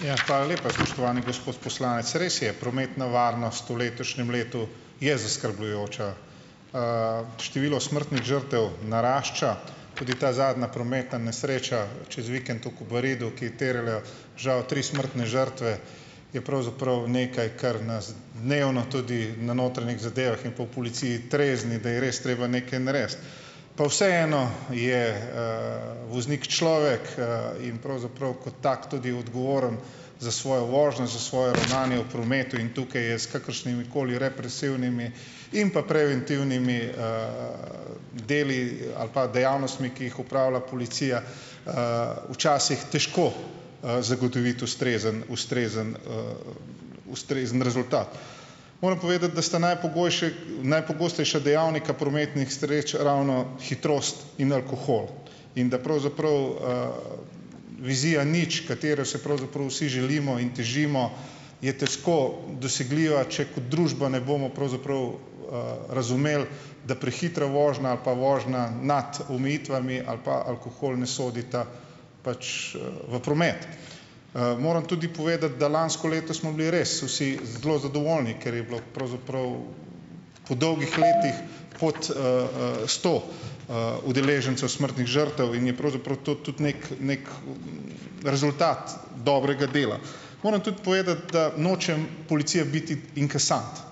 Hvala lepa. Spoštovani gospod poslanec, res je, prometna varnost v letošnjem letu je zaskrbljujoča. Število smrtnih žrtev narašča, tudi ta zadnja prometna nesreča čez vikend v Kobaridu, ki terjala žal tri smrtne žrtve, je pravzaprav nekaj, kar nas dnevno tudi na notranjih zadevah in pa v policiji trezni, da je res treba nekaj narediti. Pa vseeno je voznik človek, in pravzaprav kot tak tudi odgovoren za svojo vožnjo, za svoje ravnanje v prometu in tukaj je s kakršnimikoli represivnimi in pa preventivnimi deli ali pa dejavnostmi, ki jih opravlja policija, včasih težko, zagotoviti ustrezen ustrezen ustrezen rezultat. Moram povedati, da sta najpogostejša dejavnika prometnih nesreč ravno hitrost in alkohol in da pravzaprav vizija nič, katero si pravzaprav vsi želimo in težimo, je težko dosegljiva, če kot družba ne bomo pravzaprav, razumeli, da prehitra vožnja ali pa vožnja nad omejitvami ali pa alkohol, ne sodita pač, v promet. Moram tudi povedati, da lansko leto smo bili res vsi zelo zadovoljni, ker je bilo pravzaprav, po dolgih letih, pod sto udeležencev smrtnih žrtev in je pravzaprav to tudi nekaj neki rezultat dobrega dela. Moram tudi povedati, da nočem, policija biti inkasant,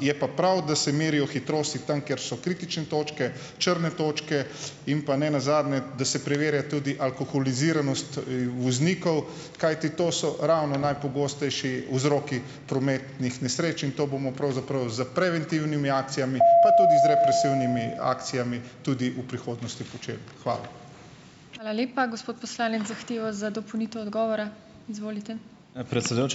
je pa prav, da se merijo hitrosti tam, kjer so kritične točke, črne točke in pa ne nazadnje, da se preverja tudi alkoholiziranost, voznikov, kajti to so ravno najpogostejši vzroki prometnih nesreč in to bomo pravzaprav s preventivnimi akcijami, pa tudi z represivnimi akcijami tudi v prihodnosti počeli. Hvala.